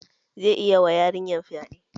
Zai iya wa yarinyan fyaɗe